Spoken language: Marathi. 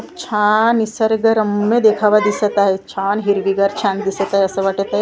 छान निसर्ग रम्य देखावा दिसत आहे छान हिरवीगार छान दिसत आहे असं वाटतं आहे.